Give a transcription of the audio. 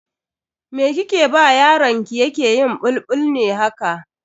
Me kike ba yaron ki yake yin bulbul ne haka?